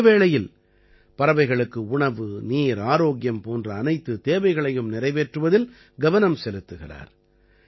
அதே வேளையில் பறவைகளுக்கு உணவு நீர் ஆரோக்கியம் போன்ற அனைத்துத் தேவைகளையும் நிறைவேற்றுவதில் கவனம் செலுத்துகிறார்